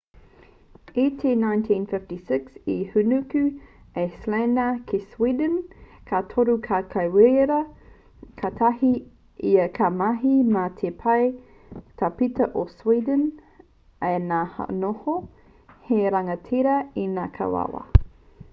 i te 1956 i hūnuku a slania ki sweden ka toru tau ki reira katahi ia ka mahi mā te pau tāpeta o sweden ā ka noho hei rangatira enekarawha